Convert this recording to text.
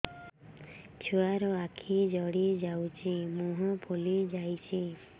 ଛୁଆର ଆଖି ଜଡ଼ି ଯାଉଛି ମୁହଁ ଫୁଲି ଯାଇଛି